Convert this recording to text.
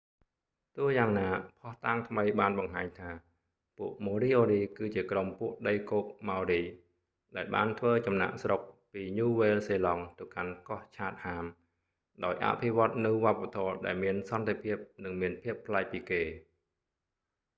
ទោះយ៉ាងណា ភស្តុតាងថ្មីបានបង្ហាញថា ពួក ម៉ូរីអូរី គឺជាក្រុមពួកដីគោកម៉ោរី ដែលបានធ្វើចំណាកស្រុកពីញូវែល សេឡង់ទៅកាន់កោះ ឆាតហាម chatham ដោយអភិវឌ្ឍនូវវប្បធម៌ដែលមានសន្តិភាព និងមានភាពប្លែកពីគេ